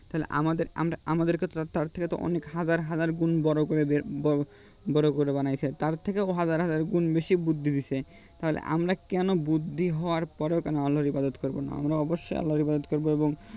তাহলে আমাদের আমরা আমাদের তো তার থেকে অনেক হাজার হাজার গুন বড়ো করে বের বড় বড়ো করে বানাইছে তার থেকেও হাজার হাজার গুন বেশি বুদ্ধি দিছে তাহলে আমরা কেন বুদ্ধি হওয়ার পরেও কেন আল্লার হিফাদোত করবো না আমরা অবশ্যই আল্লার হিফাদোত করবো এবং